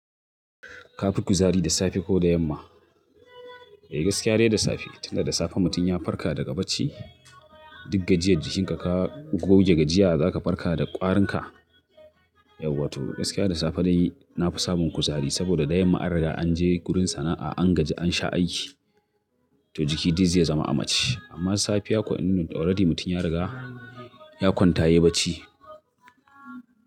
Ka fi kuzari da safe ko da yamma? Eh gaskiya dai da safe, tun da da safe mutum ya farka daga bacci, duk gajiyar jikinka ka goge gajiya za ka farka da ƙwarinka. Yauwa to gaskiya da safe dai na fi samun kuzari saboda da yamma an riga an je gurin sana'a, an gaji an sha aiki to jiki dai zai zama a macce. Amma safiya ko in already mutum ya riga ya kwanta yayi bacci.